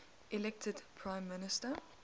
elected prime minister